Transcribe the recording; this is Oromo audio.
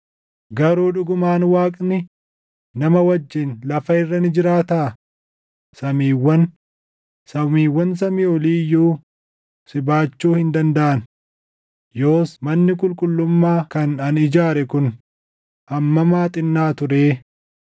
“Garuu dhugumaan Waaqni nama wajjin lafa irra ni jiraataa? Samiiwwan, samiiwwan samii olii iyyuu si baachuu hin dandaʼan. Yoos manni qulqullummaa kan ani ijaare kun hammam haa xinnaatuu ree!